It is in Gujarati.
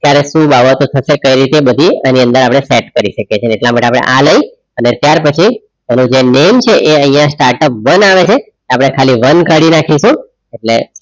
ત્યરેહ શું બાબતો થસે કઈ રીતે બધી એની અંદર અપડે set કરી સાકીએ છે એટલા માટે અપડે આ લઈ અને ત્યાર પચગી અને જે name છે આઇયાહ startup ઓને આવે છે અપડે ખાલી one કાઢી નાખીસું એટલે